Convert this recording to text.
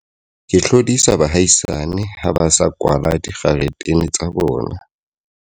Ke hlodisa baahisani ha ba sa kwala dikgaretene tsa bona.